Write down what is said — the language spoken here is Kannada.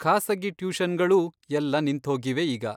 ಖಾಸಗಿ ಟ್ಯೂಷನ್ಗಳೂ ಎಲ್ಲ ನಿಂತ್ಹೋಗಿವೆ ಈಗ.